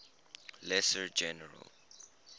lesser general